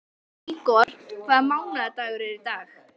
Ígor, hvaða mánaðardagur er í dag?